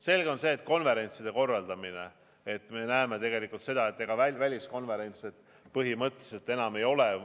Selge on see, et konverentside korraldamise puhul me näeme, et väliskonverentse põhimõtteliselt enam ei toimu.